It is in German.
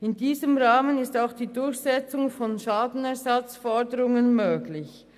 In diesem Rahmen ist auch die Durchsetzung von Schadenersatzforderungen möglich.